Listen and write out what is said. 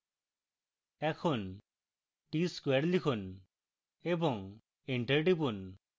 এখন tsquare লিখুন এবং enter টিপুন